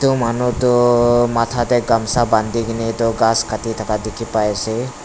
uh manu tu matha te gamsa bandi kine tu ghass Kati thaka dekhi paise.